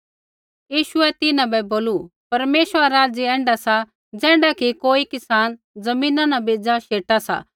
यीशुऐ तिन्हां बै बोलू परमेश्वरा रा राज्य ऐण्ढा सा ज़ैण्ढा कि कोई किसान ज़मीना न बेज़ा शेटा सा